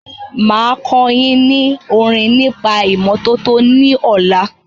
Máa kọ́ yín ní orin nípa ìmọ́tọ́tọ́ ní ọ̀la.